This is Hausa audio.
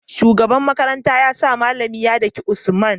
shugaban makaranta yasa mallami ya daki usman